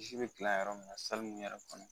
Bisi be gilan yɔrɔ min na sali min yɛrɛ kɔnɔ